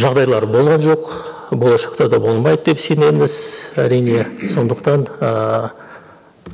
жағдайлар болған жоқ болашақта да болмайды деп сенеміз әрине сондықтан ыыы